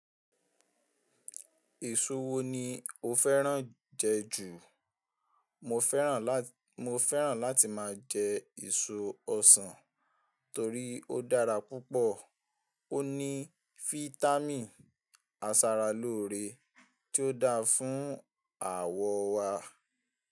Èso wo ni o fẹ́ràn jẹ ju? Mo fẹ́ràn láti máa jẹ èso ọsàn torí ó dára púpọ̀, ó ní fítámìn, asara lóore tí ó dáa fún àwọ̀ wa.